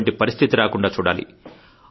అటువంటి పరిస్థితి రాకుండా చూడాలి